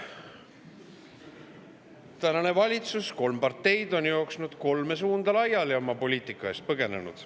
Tänane valitsus, kolm parteid on jooksnud kolme suunda laiali, oma poliitika eest põgenenud.